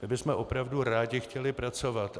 My bychom opravdu rádi chtěli pracovat.